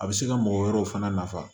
A bɛ se ka mɔgɔ wɛrɛw fana nafa